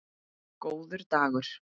Góður dagur!